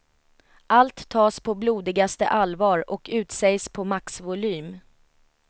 Allt tas på blodigaste allvar och utsägs på maxvolym.